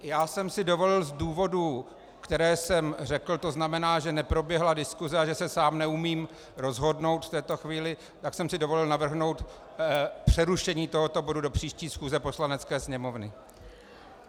Já jsem si dovolil z důvodů, které jsem řekl, to znamená, že neproběhla diskuse a že se sám neumím rozhodnout v této chvíli, tak jsem si dovolil navrhnout přerušení tohoto bodu do příští schůze Poslanecké sněmovny.